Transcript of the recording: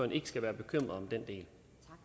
ikke skal være bekymret den del